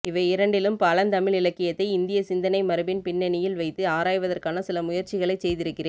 இவை இரண்டிலும் பழந்தமிழிலக்கியத்தை இந்திய சிந்தனை மரபின் பின்னணியில் வைத்து ஆராய்வதற்கான சில முயற்சிகளைச் செய்திருக்கிறேன்